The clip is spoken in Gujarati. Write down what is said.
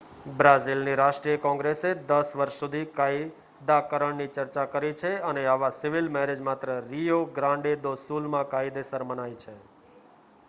બ્રાઝિલની રાષ્ટ્રીય કૉંગ્રેસે 10 વર્ષ સુધી કાયદાકરણની ચર્ચા કરી છે અને આવાં સિવિલ મૅરેજ માત્ર રિયો ગ્રાન્ડે દો સુલમાં કાયદેસર મનાય છે